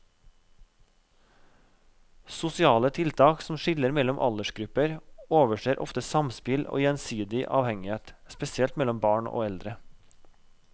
Sosiale tiltak som skiller mellom aldersgrupper overser ofte samspill og gjensidig avhengighet, spesielt mellom barn og eldre.